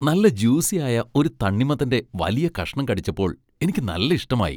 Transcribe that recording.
നല്ല ജ്യൂസി ആയ ഒരു തണ്ണിമത്തന്റെ വലിയ കഷ്ണം കടിച്ചപ്പോൾ എനിക്ക് നല്ല ഇഷ്ടമായി.